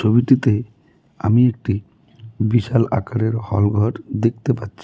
ছবিটিতে আমি একটি বিশাল আকারের হলঘর দেখতে পাচ্ছি.